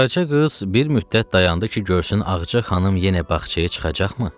Qaraca qız bir müddət dayandı ki, görsün Ağaca xanım yenə bağçaya çıxacaqmı?